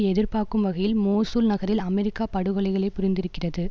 எதிர்பார்க்கும் வகையில் மோசூல் நகரில் அமெரிக்கா படுகொலைகளை புரிந்திருக்கிறது